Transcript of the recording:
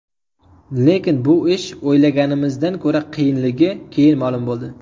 Lekin bu ish o‘ylaganimizdan ko‘ra qiyinligi keyin ma’lum bo‘ldi.